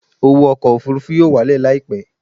Owó ọkọ̀ òfurufú yóò wálẹ̀ láìpẹ́